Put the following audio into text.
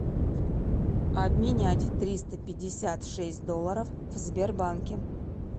обменять триста пятьдесят шесть долларов в сбербанке